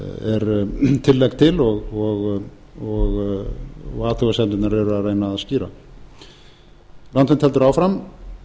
frumvarpið tillaga til og athugasemdirnar eru að reyna að skýra landvernd heldur áfram